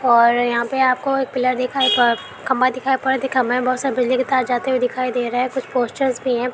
और यहाँ पर आपको एक पिलर दिखाई पड़ खंबा दिखाई पड़। खंबे में बोहोत सारे बिजली के तार जाते हुए दिखाई दे रहे हैं कुछ पोस्टर भी हैं।